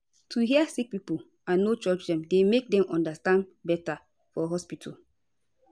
to hear sick pipo and no judge dem dey make dem understand beta for hospitol